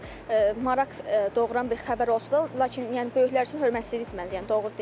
Yəni bu maraq doğuran bir xəbər olsa da, lakin yəni böyüklər üçün hörmətsizlik məncə, yəni doğru deyil.